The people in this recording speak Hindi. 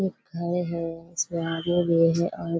ये घर है इसके आगे है और --